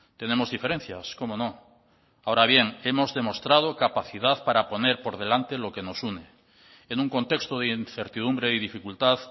tenemos diferencias cómo no ahora bien hemos demostrado capacidad para poner por delante lo que nos une en un contexto de incertidumbre y dificultad